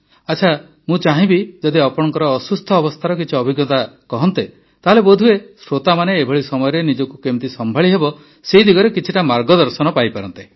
ଆଚ୍ଛା ମୁଁ ଚାହିଁବି ଯଦି ଆପଣଙ୍କ ଅସୁସ୍ଥ ଅବସ୍ଥାର କିଛି ଅଭିଜ୍ଞତା କହନ୍ତେ ତାହାଲେ ବୋଧହୁଏ ଶ୍ରୋତାମାନେ ଏଭଳି ସମୟରେ ନିଜକୁ କିପରି ସମ୍ଭାଳିହେବ ସେ ଦିଗରେ କିଛିଟା ମାର୍ଗଦର୍ଶନ ପାଆନ୍ତେ